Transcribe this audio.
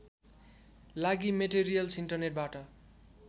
लागि मेटेरियल्स् इन्टरनेटबाट